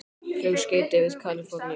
Flugskeyti við Kalíforníu